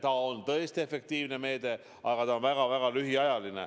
See on tõesti efektiivne meede, aga seda saab rakendada väga-väga lühikest aega.